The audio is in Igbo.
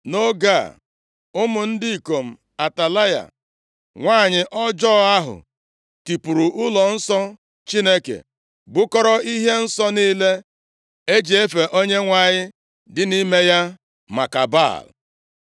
Nʼoge a ụmụ ndị ikom Atalaya, nwanyị ọjọọ ahụ tipuru ụlọnsọ Chineke, bukọrọ ihe nsọ niile e ji efe Onyenwe anyị dị nʼime ya maka Baal.